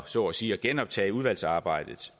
så at sige at genoptage udvalgsarbejdet